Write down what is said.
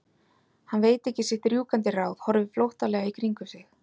Hann veit ekki sitt rjúkandi ráð, horfir flóttalega í kringum sig.